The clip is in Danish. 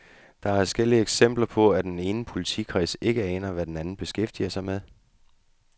Der er adskillige eksempler på, at den ene politikreds ikke aner, hvad den anden beskæftiger sig med.